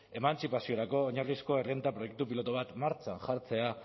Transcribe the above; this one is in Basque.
emantzipaziorako oinarrizko errenta proiektu pilotu bat martxan jartzea